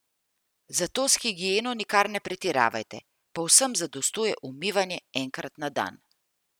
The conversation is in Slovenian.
Zato s higieno nikar ne pretiravajte, povsem zadostuje umivanje enkrat na dan.